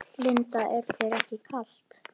Linda: Er þér ekki kalt?